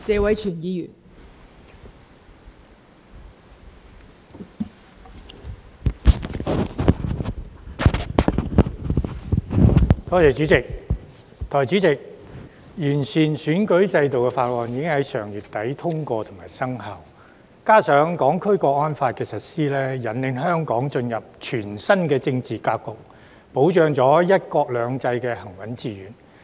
代理主席，有關完善選舉制度的法案已於上月底通過及生效，加上《香港國安法》的實施，引領香港進入全新政治格局，保障"一國兩制"行穩致遠。